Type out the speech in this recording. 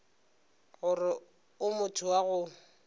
gore o motho wa go